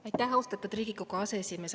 Aitäh, austatud Riigikogu aseesimees!